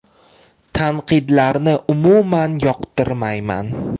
Tanqidlarni umuman yoqtirmayman.